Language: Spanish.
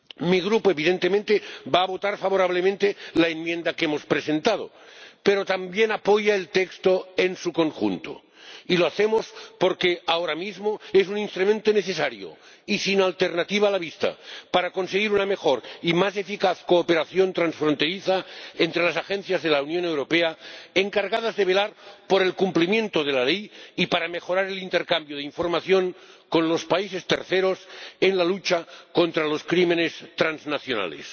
Mi Grupo, evidentemente, va a votar a favor de la enmienda que hemos presentado, pero también apoya el texto en su conjunto, y lo hace porque ahora mismo es un instrumento necesario y sin alternativa a la vista para conseguir una mejor y más eficaz cooperación transfronteriza entre las agencias de la Unión Europea encargadas de velar por el cumplimiento de la ley y para mejorar el intercambio de información con los países terceros en la lucha contra los delitos transnacionales.